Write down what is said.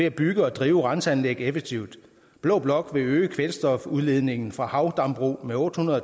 at bygge og drive renseanlæg effektivt blå blok vil øge kvælstofudledningen fra havdambrug med otte hundrede